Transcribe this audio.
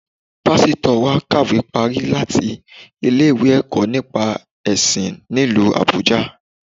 Pásítọ̀ wa kàwé parí láti ilé-ìwé ẹ̀kọ́ nípa ẹ̀sìn nílu Àbújâ